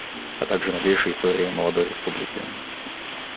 а также новейшая история молодой республики